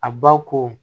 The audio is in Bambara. A ba ko